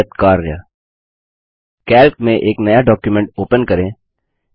व्यापक नियत कार्य कैल्क में एक नया डॉक्युमेंट ओपन करें